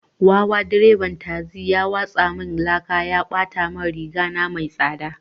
Wawa direban tasi ya watsa min laka ya bata min riga mai tsada